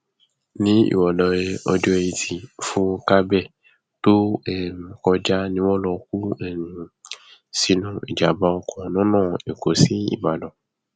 nírọlẹ ọjọ etí furcabee tó um kọjá ni wọn lọ kú um sínú ìjàmbá oko lọnà èkó síbàdàn